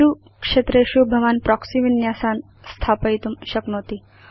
एषु क्षेत्रेषु भवान् प्रोक्सी विन्यासान् स्थापयितुं शक्नोति